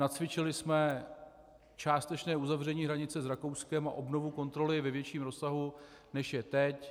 Nacvičili jsme částečné uzavření hranice s Rakouskem a obnovu kontroly ve větším rozsahu, než je teď.